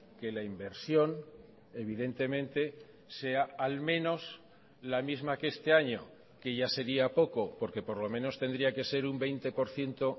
que la inversión evidentemente sea al menos la misma que este año que ya sería poco porque por lo menos tendría que ser un veinte por ciento